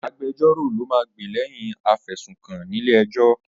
Agbejọ́rò ló máa gbè lẹ́yìn afẹ̀sùnkàn nílé ẹjọ́.